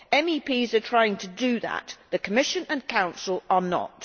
MEPs are trying to do that the Commission and Council are not.